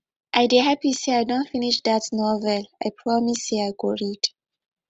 i dey happy say i don finish dat novel i promise say i go read